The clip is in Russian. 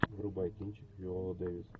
врубай кинчик виола дэвис